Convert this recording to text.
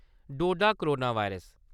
डोडा-करोना virus